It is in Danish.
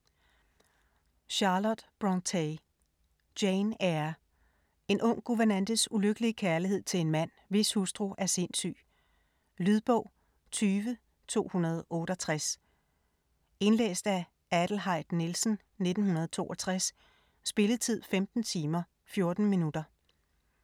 Brontë, Charlotte: Jane Eyre En ung guvernantes ulykkelige kærlighed til en mand, hvis hustru er sindssyg. Lydbog 20268 Indlæst af Adelheid Nielsen, 1962. Spilletid: 15 timer, 14 minutter.